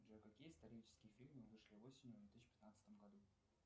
джой какие исторические фильмы вышли осенью в две тысячи пятнадцатом году